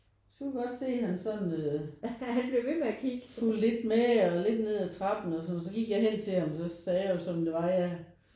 Så kunne jeg godt se at han sådan fulgte lidt med og lidt ned af trappen og sådan noget så gik jeg hen til ham og så sagde jeg jo som det var at jeg